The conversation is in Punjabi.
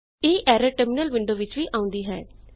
ਇਹ ਐਰਰ ਟਰਮਿਨਲ ਵਿੰਡੋ ਵਿੱਚ ਵੀ ਆਉਂਦੀ ਹੈ